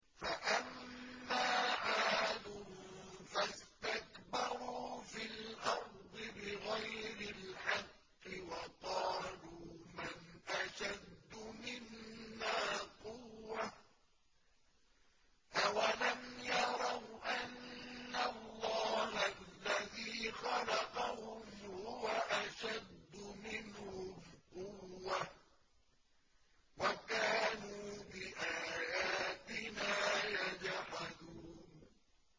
فَأَمَّا عَادٌ فَاسْتَكْبَرُوا فِي الْأَرْضِ بِغَيْرِ الْحَقِّ وَقَالُوا مَنْ أَشَدُّ مِنَّا قُوَّةً ۖ أَوَلَمْ يَرَوْا أَنَّ اللَّهَ الَّذِي خَلَقَهُمْ هُوَ أَشَدُّ مِنْهُمْ قُوَّةً ۖ وَكَانُوا بِآيَاتِنَا يَجْحَدُونَ